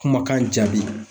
Kumakan jaabi